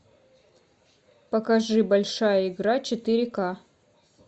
покажи большая игра четыре ка